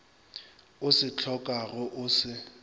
o se hlokago o se